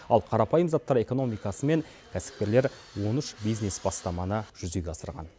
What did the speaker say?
ал қарапайым заттар экономикасымен кәсіпкерлер он үш бизнес бастаманы жүзеге асырған